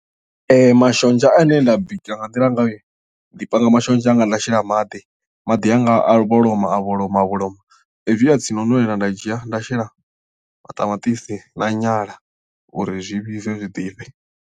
Mashonzha ane nda bika nga nḓila ngayo ndi panga mashonzha anga nda shela maḓi maḓi anga a vholoma a vholoma a vholoma hezwi a tsini no nwelela nda dzhia nda shela maṱamaṱisi na nyala uri zwi vhibve zwiḓifhe.